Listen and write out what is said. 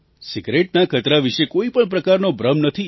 સિગરેટના ખતરા વિશે કોઈ પણ પ્રકારનો ભ્રમ નથી